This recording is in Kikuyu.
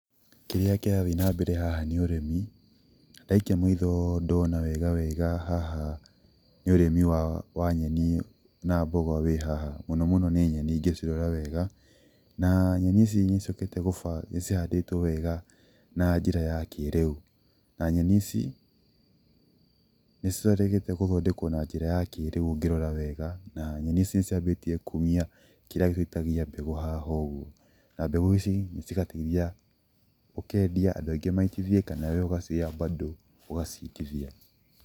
Kĩrĩa kĩrathiĩ na mbere haha nĩ ũrĩmi, ndaikia maitho ndona wega wega haha, nĩ ũrĩmi wa wa nyeni na mboga wĩ haha. Mũno mũno nĩ nyeni ingĩcirora wega, na nyeni ici niciũkĩte gũbangũo nĩcihandĩtũo wega, na njĩra ya kĩrĩu. Na nyeni ici, ,nĩciĩrĩgĩte gũthondekwo na njĩra ya kĩrĩu ũngĩrora wega. Na nyeni ici nĩciambĩtie kumia kĩrĩa kĩrutagia mbegũ haha ũũ. Na mbegũ ici nĩcigateithia, ũkendia andũ aingĩ maitithie kana wee ũgacioya bado ũgaciitithia.